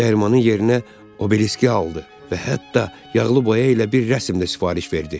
Dərmanın yerinə Obeliski aldı və hətta yağlı boya ilə bir rəsm də sifariş verdi.